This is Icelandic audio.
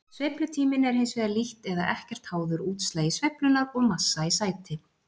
Sveiflutíminn er hins vegar lítt eða ekkert háður útslagi sveiflunnar og massa í sæti.